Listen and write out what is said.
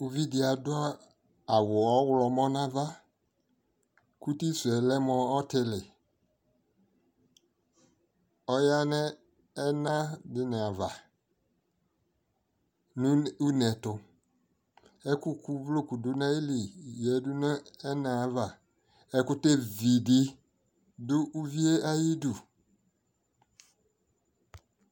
ʋvidi adʋ awʋ ɔwlɔmʋ nʋ aɣa kʋ ʋti suɛ lɛ mʋ ɔtili, ɔya nʋ ɛna dini aɣa nʋ ʋnɛ ɛtʋ, ɛkʋ kʋ ʋvlɔkʋ dʋnʋ ayili yadu nʋ ɛnɛ aɣa, ɛkʋtɛvi di du ʋviɛ ayidʋ